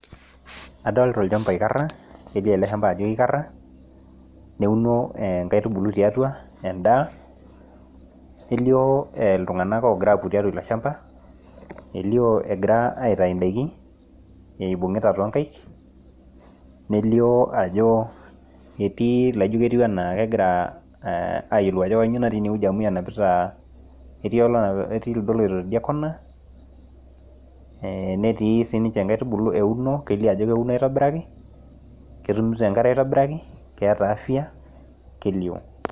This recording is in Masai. adolta olchamba oikara kelio ake ele shamba ajo kikara, neuno inkaitubulu tiatua aa edaa nelio iltung'anak ogira apuopuo tiatua ilo shamba, elio egira aitayu idaikin ibung'ita too nkaik, nelio ilogira ajo matayiolo ajo kanyio natii ine amu ijo kenapita kelio lido oloito tidia kona , netii sii niche inkaitubulu euno kelio ajo keuno aitobiraki ketumito enkare aitobiraki keeta afia kelio.